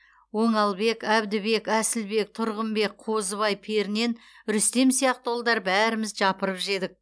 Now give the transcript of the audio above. оңалбек әбдібек әсілбек тұрғынбек қозыбай пернен рүстем сияқты ұлдар бәріміз жапырып жедік